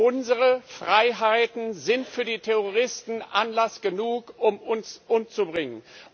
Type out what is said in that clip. Unsere Freiheiten sind für die Terroristen Anlass genug, uns umzubringen.